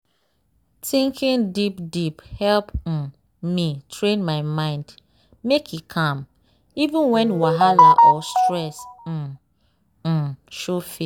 thinking deep deepe help um me train my mind make e calm even when wahala or stress um um show face.